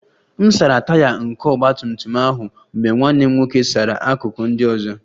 M sara Taya nke ọgba tum tum ahụ mgbe nwanne m nwoke sara akụkụ ndị ọzọ